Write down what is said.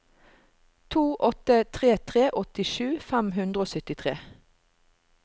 to åtte tre tre åttisju fem hundre og syttitre